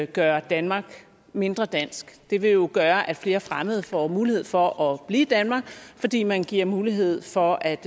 gøre danmark mindre dansk det vil jo gøre at flere fremmede får mulighed for at blive i danmark fordi man giver mulighed for at